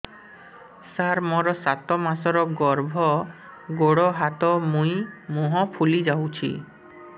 ସାର ମୋର ସାତ ମାସର ଗର୍ଭ ଗୋଡ଼ ହାତ ମୁହଁ ଫୁଲି ଯାଉଛି